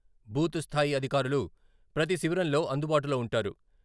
Booth స్థాయి అధికారులు ప్రతి శిబిరంలో అందుబాటులో ఉంటారు.